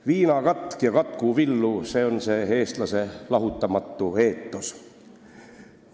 Viinakatk ja Katku Villu – see on see eestlase lahutamatu eetos.